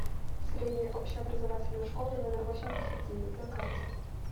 средняя общеобразовательная школа номер восемьдесят девять на карте